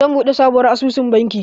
Zan buɗe sabuwar asusun banki